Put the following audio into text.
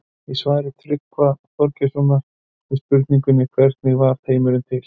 Í svari Tryggva Þorgeirssonar við spurningunni Hvernig varð heimurinn til?